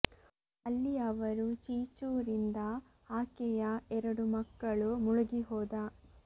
ಅಲ್ಲಿ ಅವರು ಚಿ ಚೂ ರಿಂದ ಆಕೆಯ ಎರಡು ಮಕ್ಕಳು ಮುಳುಗಿಹೋದ